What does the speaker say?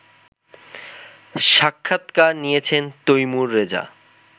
সাক্ষাৎকার নিয়েছেন তৈমুর রেজা